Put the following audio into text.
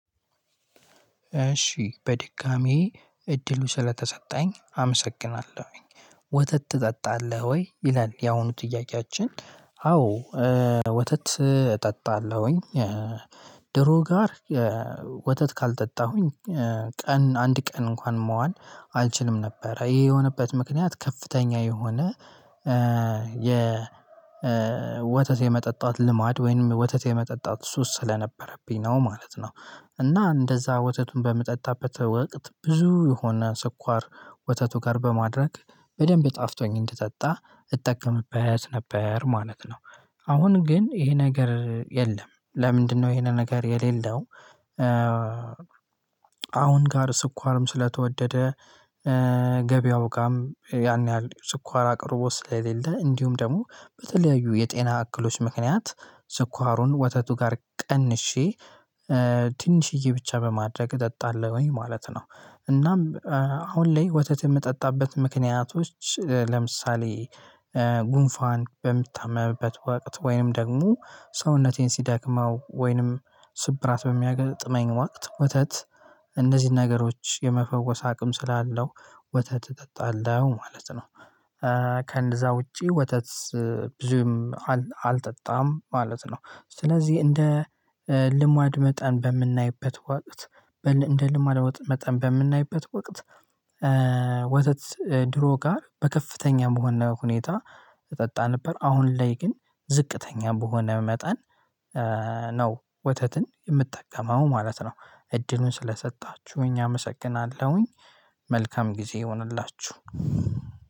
እሺ በድጋሚ እድሉ ስለተሰጠኝ አመሰግናለሁኝ። ወተት ትጠጣለህ ወይ ይላል? ያሁኑ ጥያቄያችን አዎ ወተት እጠጣለሁኝ። ድሮ ጋር ወተት ካልጠጣሁኝ ቀን አንድ ቀን እንኳን መዋል አልችልም ነበረ። ይሄ የሆነበት ምክንያት ከፍተኛ የሆነ የ ወተት የመጠጣት ልማድ ወይም ወተት የመጠጣት ሱስ ስለነበረብኝ ነው ማለት ነው። እና እንደዛ ወተቱን በምጠጣበት ወቅት ብዙ የሆነ ስኳር ወተቱ ጋር በማድረግ በደንብ ጣፍጦኝ እንድጠጣ እጠቀምበት ነበር ማለት ነው። አሁን ግን ይሄ ነገር የለም ለምንድነው ይሄንን ነገር የሌለው? አሁን ጋር ስኳርም ስለተወደደ ገበያው ጋርም ያን ያህል ስኳር አቅርቦት ስለሌለ እንዲሁም ደግሞ በተለያዩ የጤና እክሎች ምክንያት። ስኳሩን ወተቱ ጋር ቀንሼ ትንሽዬ ብቻ በማድረግ እጠጣለሁኝ ማለት ነው። እናም አሁን ላይ ወተት የምጠጣበት ምክንያቶች ለምሳሌ ጉንፋን በምታመምበት ወቅት ወይንም ደግሞ ሰውነቴን ሲደክመው ወይንም ስብራት በሚያጋጥመኝ ወቅት ወተት እንደዚህ ነገሮች የመፈወስ አቅም ስላለው ወተት እጠጣለሁ ማለት ነው። ከእነዛ ውጪ ወተት ብዙም አልጠጣም ማለት ነው። ስለዚህ እንደ ልማድ መጠን በምናይበት ወቅት በእንደልማለው መጠን በምናይበት ወቅት ወተት ድሮ ጋር በከፍተኛ መሆን ሁኔታ እጠጣ ነበር አሁን ላይ ግን ዝቅተኛ በሆነ መጠን ነው ወተትን የምጠቀመው ማለት ነው። እድሉን ስለሰጣችሁኝ አመሰግናለሁኝ። መልካም ጊዜ ይሁንላችሁ